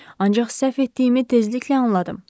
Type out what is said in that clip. Ancaq səhv etdiyimi tezliklə anladım.